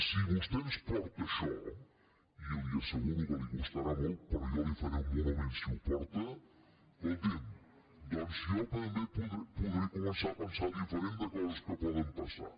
si vostè ens porta això i li asseguro que li costarà molt però jo li faré un monument si ho porta escolti’m doncs jo també podré començar a pensar diferent de coses que poden passar